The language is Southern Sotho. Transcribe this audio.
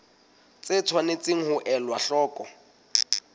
tse tshwanetseng ho elwa hloko